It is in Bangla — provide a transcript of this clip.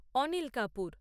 অনিল কাপুর